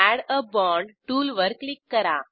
add a bond टूलवर click करा